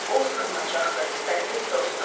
O sığınacaqdır, səssiz dostdur.